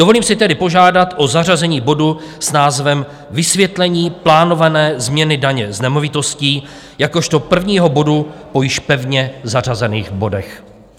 Dovolím si tedy požádat o zařazení bodu s názvem Vysvětlení plánované změny daně z nemovitostí jakožto prvního bodu po již pevně zařazených bodech.